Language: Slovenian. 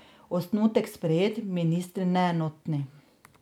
Osnutek sprejet, ministri neenotni.